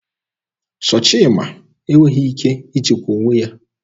Sọchima enweghị ike ijikwa onwe ya.